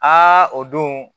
Aa o don